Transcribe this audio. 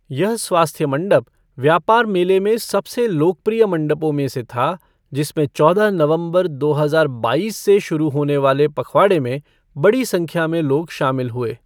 यह स्वास्थ्य मंडप व्यापार मेले में सबसे लोकप्रिय मंडपों में से था, जिसमें चौदह नवंबर, दो हजार बाईस से शुरू होने वाले पखवाड़े में बड़ी संख्या में लोग शामिल हुए।